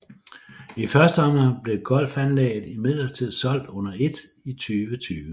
I første omgang blev golfanlægget imidlertid solgt under et i 2020